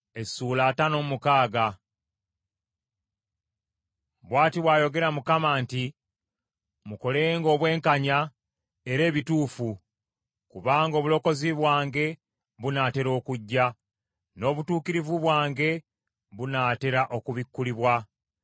Bw’ati bw’ayogera Mukama nti, “Mukolenga obwenkanya era ebituufu, kubanga obulokozi bwange bunaatera okujja, n’obutuukirivu bwange bunatera okubikkulibwa.